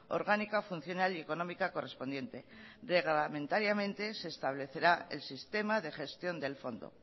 orgánica funcional y económica correspondiente reglamentariamente se establecerá el sistema de gestión del fondo